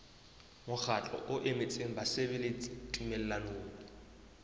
mokgatlo o emetseng basebeletsi tumellanong